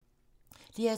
DR2